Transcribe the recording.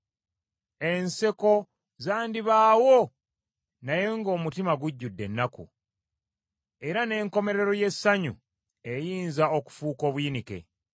Enseko zandibaawo naye ng’omutima gujjudde ennaku, era n’enkomerero y’essanyu eyinza okufuuka obuyinike.